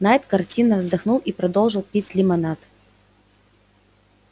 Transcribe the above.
найд картинно вздохнул и продолжил пить лимонад